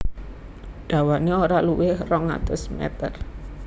Dawané ora luwih rong atus meter